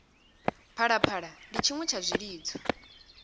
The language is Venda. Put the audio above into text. phalaphala ndi tshiṅwe tsha zwilidzo